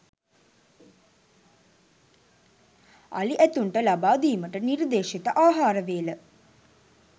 අලි ඇතුන්ට ලබා දීමට නිර්දේශිත ආහාරවේල